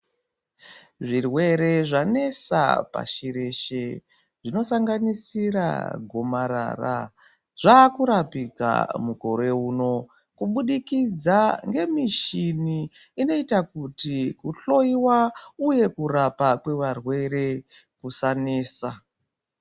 Zvirwere zvanesa pashi reshe zvinosanganisira gomarara zvaakurapika mukore uno kuburikidza nemishini inoita kuti kuhloyiwa uye kurapwa kwevarwere kusanesa